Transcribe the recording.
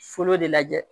Foro de lajɛ